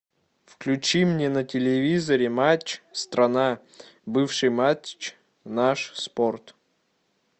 включи мне на телевизоре матч страна бывший матч наш спорт